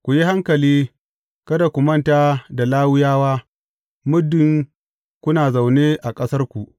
Ku yi hankali, kada ku manta da Lawiyawa, muddin kuna zaune a ƙasarku.